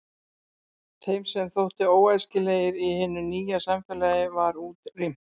Þeim sem þóttu óæskilegir í hinu nýja samfélagi var útrýmt.